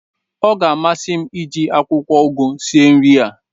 ọ ga-amasị m iji akwụkwọ ụgụ sie nri a